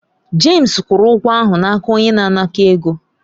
James kwụrụ ụgwọ ahụ n'aka onye na-anakọ̀ ego.